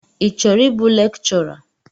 Ị chọrọ ịbụ lekchọra?